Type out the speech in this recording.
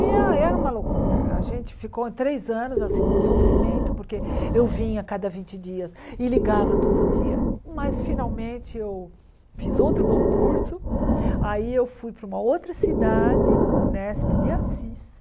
E a e era uma loucura, a gente ficou três anos assim num sofrimento, porque eu vinha cada vinte dias e ligava todo dia, mas finalmente eu fiz outro concurso, aí eu fui para uma outra cidade, o Nesp de Assis,